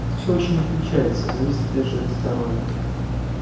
всё очень отличается зависит опять же от здоровья